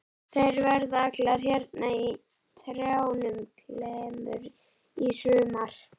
Þær verða allar hérna í trjánum á klemmum í sumar.